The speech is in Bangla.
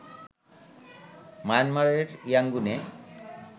মায়ানমারের ইয়াংগুনে